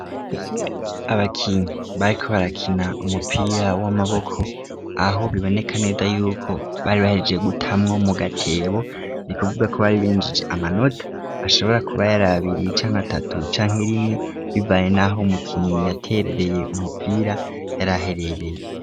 Abakinyi bayiko barakina umupira w'amaboko aho bibonekaneda yuko bari bahereje gutamwo mu gatebo ni kuvuga ko bari binjije amanota ashobora kuba yarabiriye icanke atatu canke rimwe bivaye, naho umukinyi yaterereye umupira yaraherereye.